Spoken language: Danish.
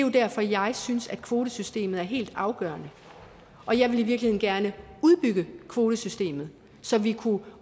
er derfor jeg synes kvotesystemet er helt afgørende og jeg ville i virkeligheden gerne udbygge kvotesystemet så vi kunne